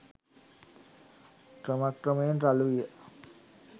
ක්‍රම ක්‍රමයෙන් රළු විය